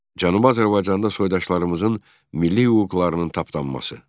Cənubi Azərbaycanda soydaşlarımızın milli hüquqlarının tapdanması.